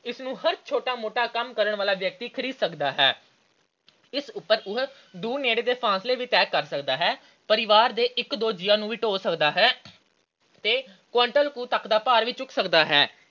ਇਸਨੂੰ ਹਰ ਛੋਟਾ-ਮੋਟਾ ਕੰਮ ਕਰਨ ਵਾਲਾ ਵਿਅਕਤੀ ਖਰੀਦ ਸਕਦਾ ਹੈ। ਇਸ ਉਪਰ ਉਹ ਦੂਰ ਨੇੜੇ ਦੇ ਫਾਸਲੇ ਵੀ ਤੈਅ ਸਕਦਾ ਹੈ। ਪਰਿਵਾਰ ਦੇ ਇੱਕ ਦੋ ਜੀਆਂ ਨੂੰ ਵੀ ਢੋਅ ਸਕਦਾ ਹੈ ਤੇ quintal ਕੁ ਤੱਕ ਦਾ ਭਾਰ ਵੀ ਚੁੱਕ ਸਕਦਾ ਹੈ।